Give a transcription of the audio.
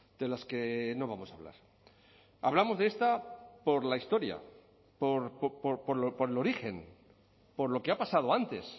de las que no vamos a hablar hablamos de esta por la historia por el origen por lo que ha pasado antes